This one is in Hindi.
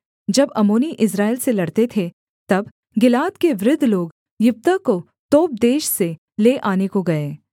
जब अम्मोनी इस्राएल से लड़ते थे तब गिलाद के वृद्ध लोग यिप्तह को तोब देश से ले आने को गए